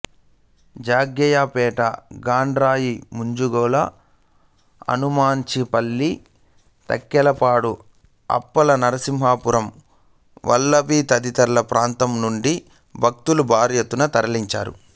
జగ్గయ్యపేట గండ్రాయి మంగొల్లు అనుమంచిపల్లి తక్కెళ్ళపాడు అప్పల నర్సాపురం వల్లభి తదితర ప్రాంతాలనుండి భక్తులు భారీ యెత్తున తరలివచ్చారు